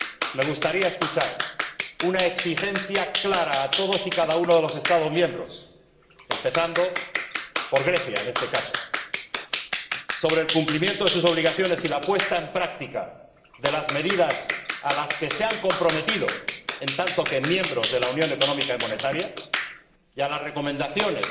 Me gustaría escuchar una exigencia clara a todos y cada uno de los Estados miembros, empezando por Grecia en este caso, sobre el cumplimiento de sus obligaciones, y la puesta en práctica de las medidas a las que se han comprometido como miembros de la Unión Económica y Monetaria, y de las recomendaciones